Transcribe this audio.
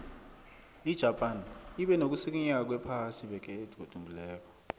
ijapan ibe nokusikinyeka kwephasi iveke egadungileko